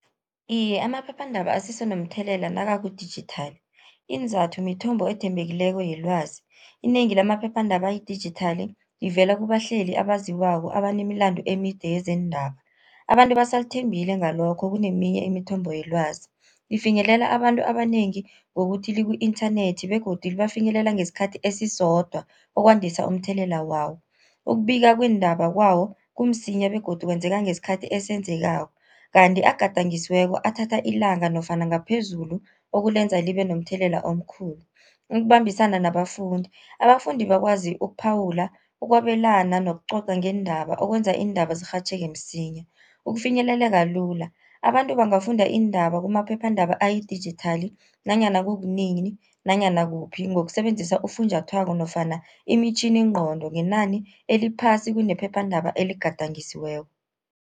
Iye, amaphephandaba asese nomthelela nakakudijithali, iinzathu mithombo ethembekileko yelwazi. Inengi lamaphephandaba ayidijithali ivela kubahleli abaziwako abanemilando emide yezeendaba, abantu basalithembile ngalokho kuneminye imithombo yelwazi. Ifinyelela abantu abanengi, ngokuthi liku-inthanethi begodu libafinyelela ngesikhathi esisodwa okwandisa umthelela wawo. Ukubika kweendaba kwawo kumsinya begodu kwenzeka ngesikhathi esenzekako. Kanti agadangisiweko athatha ilanga nofana ngaphezulu ukulenza libe nomthelela omkhulu. Ukubambisana nabafundi, abafundi bakwazi ukuphawula, ukwabelana nokucoca ngeendaba okwenza iindaba zirhatjheke msinya. Ukufinyeleleka lula, abantu bangafunda iindaba kumaphephandaba ayidijithali nanyana kukunini nanyana kuphi, ngokusebenzisa ufunjathwako nofana imitjhiningqondo, ngenani eliphasi kunephephandaba eligadangisiweko.